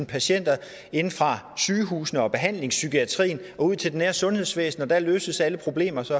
patienter inde fra sygehusene og behandlingspsykiatrien og ud til det nære sundhedsvæsen og der løses alle problemer så